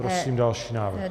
Prosím další návrh.